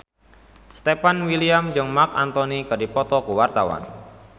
Stefan William jeung Marc Anthony keur dipoto ku wartawan